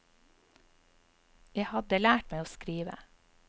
Jeg hadde lært meg å skrive.